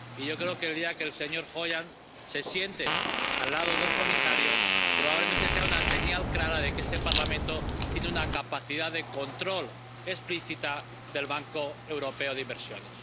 Y yo creo que el día que el señor Hoyer se siente al lado del comisario eso sea probablemente una señal clara de que este Parlamento tiene una capacidad de control explícita del Banco Europeo de Inversiones.